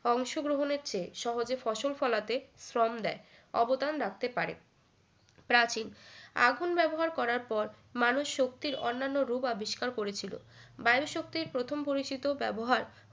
অংশগ্রহণের চেয়ে সহজে ফসল ফলাতে শ্রম দেয় অবদান রাখতে পারে প্রাচীন আগুন ব্যবহার করার পর মানুষ শক্তির অন্যান্য রূপ আবিষ্কার করেছিল বায়ু শক্তির প্রথম পরিচিত ব্যবহার